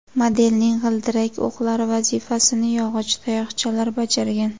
Modelning g‘ildirak o‘qlari vazifasini yog‘och tayoqchalar bajargan.